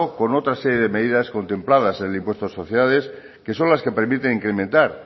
con otras series de medidas contempladas en el impuesto de sociedades que son las que permiten incrementar